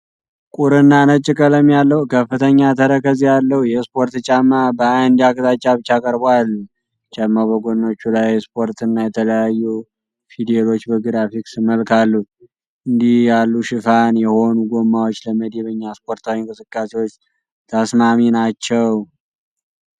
ቁርና ነጭ ቀለም ያለው ከፍተኛ ተረከዝ ያለው የስፖርት ጫማ በአንድ አቅጣጫ ብቻ ቀርቧል። ጫማው በጎኖቹ ላይ 'SPORT' እና የተለያዩ ፊደሎች በግራፊክስ መልክ አሉት። እንዲህ ያሉ ፋሽን የሆኑ ጫማዎች ለመደበኛ ስፖርታዊ እንቅስቃሴዎች ተስማሚ ናቸው?